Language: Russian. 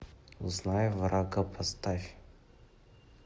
узнай врага поставь